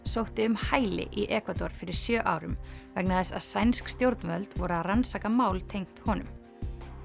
sótti um hæli í Ekvador fyrir sjö árum vegna þess að sænsk stjórnvöld voru að rannsaka mál tengt honum